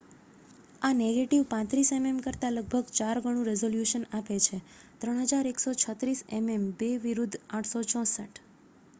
આ negative 35 MM કરતાં લગભગ ચાર ગણું રિઝોલ્યુશન આપે છે 3136 એમએમ2 વિરુદ્ધ 864